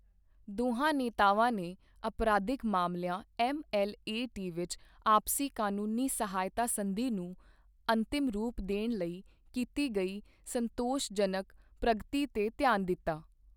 ਦੋਹਾਂ ਨੇਤਾਵਾਂ ਨੇ ਅਪਰਾਧਿਕ ਮਾਮਲਿਆਂ ਐੱਮਐੱਲਏਟੀ ਵਿੱਚ ਆਪਸੀ ਕਾਨੂੰਨੀ ਸਹਾਇਤਾ ਸੰਧੀ ਨੂੰ ਅੰਤਿਮ ਰੂਪ ਦੇਣ ਲਈ ਕੀਤੀ ਗਈ ਸੰਤੋਸ਼ਜਨਕ ਪ੍ਰਗਤੀ ਤੇ ਧਿਆਨ ਦਿੱਤਾ।